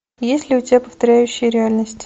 есть ли у тебя повторяющие реальность